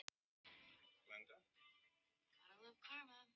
Ertu viss um að hún sé ekki.